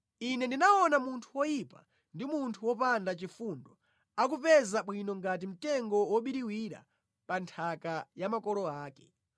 Ine ndinaona munthu woyipa ndi munthu wopanda chifundo akupeza bwino ngati mtengo wobiriwira pa nthaka ya makolo ake.